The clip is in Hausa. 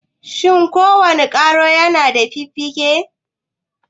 Shin ko wane ƙwaro na da fiffike?